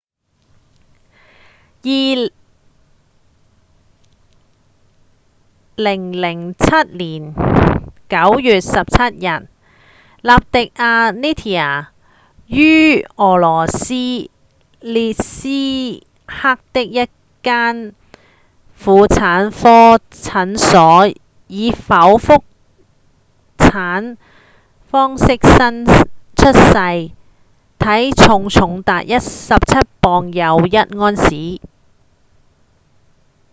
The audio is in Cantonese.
2007年9月17日納迪亞 nadia 於俄羅斯阿列伊斯克的一間婦產科診所以剖腹產方式出生體重重達17磅又1盎司